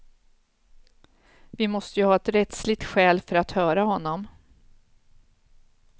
Vi måste ju ha ett rättsligt skäl för att höra honom.